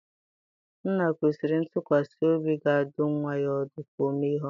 Nna kwesịrị ntụkwasị obi ga-adụ nwa ya ọdụ ka o mee ihe ọma.